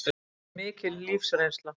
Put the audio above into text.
Verður mikil lífsreynsla